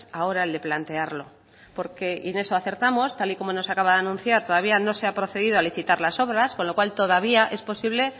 ahora el de plantearlo porque y en eso acertamos tal y como nos acaba de anunciar todavía no se ha procedido a licitar las obras con lo cual todavía es posible